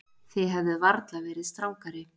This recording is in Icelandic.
Þið hefðuð varla verið strangari.